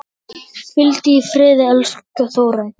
Hvíldu í friði, elsku Þórey.